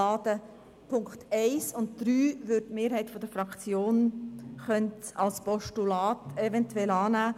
Die Punkte 1 und 3 könnte die Mehrheit der Fraktion als Postulat eventuell annehmen.